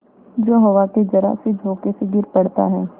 जो हवा के जरासे झोंके से गिर पड़ता है